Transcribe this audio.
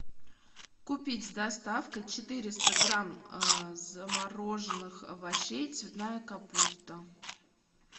купить с доставкой четыреста грамм замороженных овощей цветная капуста